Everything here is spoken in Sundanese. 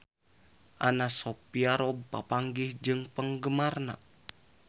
Anna Sophia Robb papanggih jeung penggemarna